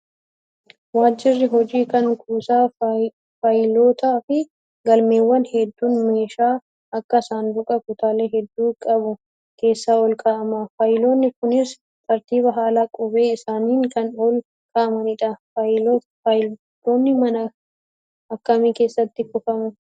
Waajirri hojii kan kuusaa faayilootaa fi galmeewwanii hedduun meeshaa akka saanduqaa kutaalee hedduu qabu keessa ol kaa'ama. Faayiloonni kunis tartiiba haala qubee isaaniin kan ol kaa'amanidha. Faayilootni mana akkamii keessatti kuufamu?